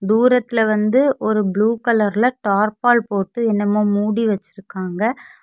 தூரத்துல வந்து ஒரு ப்ளூ கலர்ல தார்ப்பால் போட்டு என்னமோ மூடி வச்சுருக்காங்க.